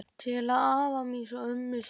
Til afa míns og ömmu svaraði Lilla.